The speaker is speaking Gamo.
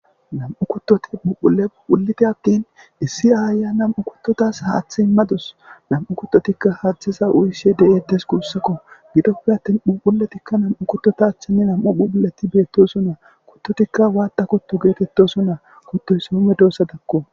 nam7u kuttoti puphule huphuleti attin issi aaya nam7u kuttotas haaththe immadus nam7u kuttotikka haaththeza uyishe de7eettes guussakko gidoppe attin phupuletikka nam7u kuttota achchenne nam7u phuphuleti beettosonnaa kuttotikka waatta kuttu geetettosunnaa kuttuy soomme doosa dakko